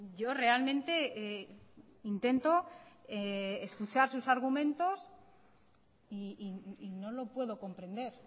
yo realmente intento escuchar sus argumentos y no lo puedo comprender